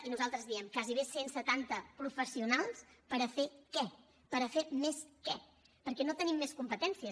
i nosaltres diem gairebé cent setanta professionals per a fer què per fer més què perquè no tenim més competències